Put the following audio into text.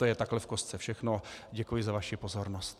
To je takhle v kostce všechno, děkuji za vaši pozornost.